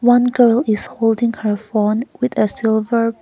one girl is holding her phone with a silver-